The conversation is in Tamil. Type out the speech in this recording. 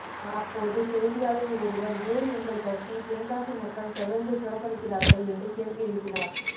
அப்போது செய்தியாளர் ஒருவர் ஏன் உங்கள் கட்சியை தென்காசி மக்கள் தொடர்ந்து புறக்கணிக்கிறார்கள் என்று கேள்வி எழுப்பினார்